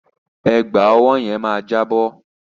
Ẹ̀gbà ọwọ́ yẹn máa jábọ́.